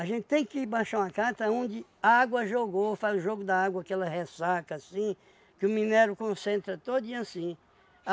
gente tem que baixar uma cata onde a água jogou, faz o jogo da água, aquela ressaca assim, que o minério concentra todinho assim.